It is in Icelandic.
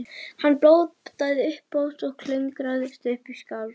Hann blótaði upphátt og klöngraðist upp í skafl.